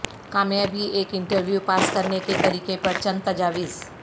کامیابی ایک interview pass کرنے کے طریقے پر چند تجاویز